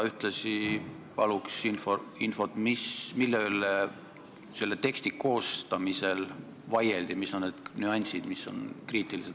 Ühtlasi paluks infot, mille üle selle teksti koostamisel vaieldi, mis on need nüansid, mis on asja juures kriitilised.